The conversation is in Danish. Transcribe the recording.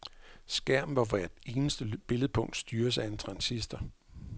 Skærm, hvor hvert eneste billedpunkt styres af en transistor.